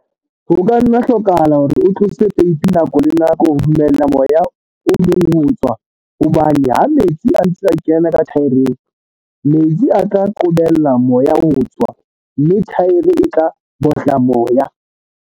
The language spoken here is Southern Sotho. Grain SA e boetse e lemoha tlhoko ya lefapha la dijothollo le holang le le atlehileng hore le nne le tshware le ho ntshetsa pele polokeho ya dijo.